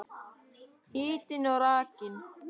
Hitinn og rakinn.